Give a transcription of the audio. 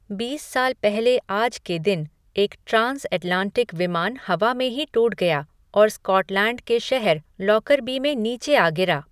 बीस साल पहले आज के दिन, एक ट्रान्स ऐटलांटिक विमान हवा में ही टूट गया और स्कॉटलैण्ड के शहर लॉकरबी में नीचे आ गिरा।